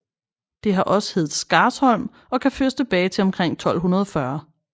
Det har også heddet Skarsholm og kan føres tilbage til omkring 1240